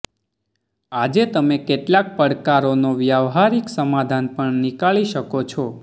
આજે તમે કેટલાક પડકારો નો વ્યાવહારીક સમાધાન પણ નીકાળી શકો છો